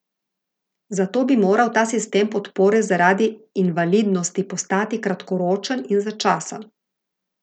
Zato bi moral ta sistem podpore zaradi invalidnosti postati kratkoročen in začasen.